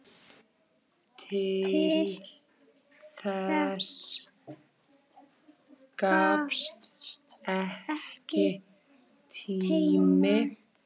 Til þess gafst ekki tími.